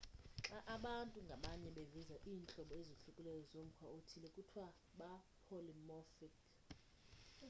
xa abantu ngabanye beveza iintlobo ezohlukileyo zomkhwa othile kuthiwa ba-polymorphic